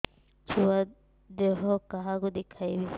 ଛୁଆ ଦେହ କାହାକୁ ଦେଖେଇବି